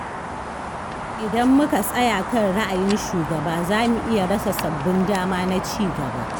Idan muka tsaya kan ra'ayin shugaba za mu iya rasa sabbin dama na cigaba.